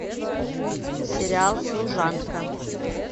сериал служанка